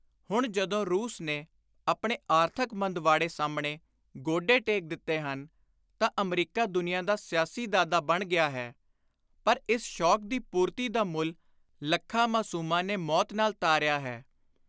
ਹੁਣ ਜਦੋਂ ਰੂਸ ਨੇ ਆਪਣੇ ਆਰਥਕ ਮੰਦਵਾੜੇ ਸਾਹਮਣੇ ਗੋਡੇ ਟੇਕ ਦਿੱਤੇ ਹਨ ਤਾਂ ਅਮਰੀਕਾ ਦੁਨੀਆਂ ਦਾ ਸਿਆਸੀ ਦਾਦਾ ਬਣ ਗਿਆ ਹੈ ਪਰ ਇਸ ਸ਼ੌਕ ਦੀ ਪੁਰਤੀ ਦਾ ਮੁੱਲ ਲੱਖਾਂ ਮਾਸੂਮਾਂ ਨੇ ਮੌਤ ਨਾਲ ਤਾਰਿਆ ਹੈ।